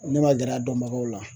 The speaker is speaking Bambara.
Ne ma gɛrɛ a dɔnbagaw la